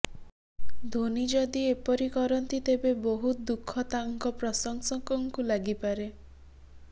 ଧୋନି ଯଦି ଏପରି କରନ୍ତି ତେବେ ବହୁତ ଦୁଃଖ ତାଙ୍କ ପ୍ରଶଂସକ ଙ୍କୁ ଲାଗିପାରେ